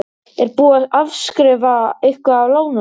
Er búið að afskrifa eitthvað af lánunum?